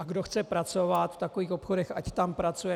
A kdo chce pracovat v takových obchodech, ať tam pracuje.